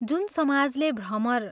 जुन समाजले भ्रमर